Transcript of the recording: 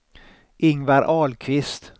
Ingvar Ahlqvist